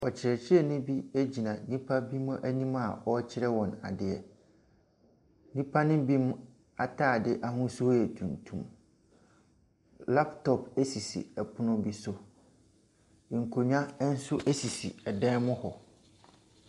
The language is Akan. Ɔkyerɛkyerɛni bi gyina nnipa binom anim a ɔrekyerɛ wɔn adeɛ. Nnipa ne bi ataade ahosuo yɛ tuntum. Laptop sisi pono bi so. Nkonnwa nso sisi dan mu hɔ.